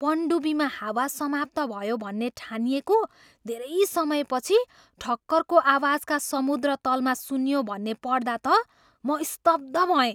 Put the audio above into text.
पनडुब्बीमा हावा समाप्त भयो भन्ने ठानिएको धेरै समयपछि ठक्करको आवाजका समुद्रतलमा सुनियो भन्ने पढ्दा त म स्तब्ध भएँ।